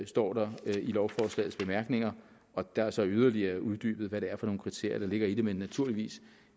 står der i lovforslagets bemærkninger og der er så yderligere uddybet hvad det er for nogle kriterier der ligger i det men naturligvis